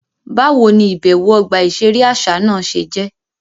Báwo ní ibẹwo ọgba iṣere àṣà náà ṣe jẹ?